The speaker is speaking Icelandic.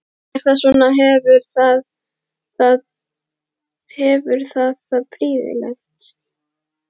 Er það svona, hefur það það prýðilegt?